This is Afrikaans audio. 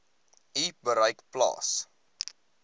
u bereik plaas